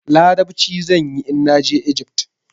Larabci zan yi in na je Ijift.